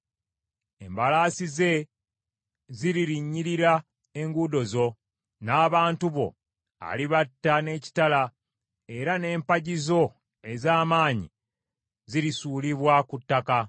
Embalaasi ze ziririnyirira enguudo zo; n’abantu bo alibatta n’ekitala era n’empagi zo ez’amaanyi zirisuulibwa ku ttaka.